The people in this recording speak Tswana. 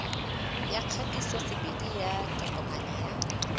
ya kgatisosebedi ya tokomane ya